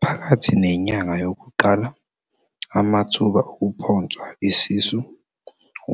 Phakathi nenyanga yokuqala, amathuba okuphonswa isisu,